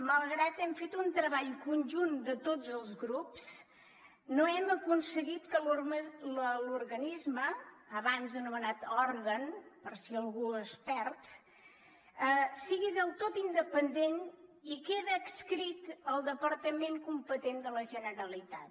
malgrat que hem fet un treball conjunt de tots els grups no hem aconseguit que l’organisme abans anomenat òrgan per si algú es perd sigui del tot independent i queda adscrit al departament competent de la generalitat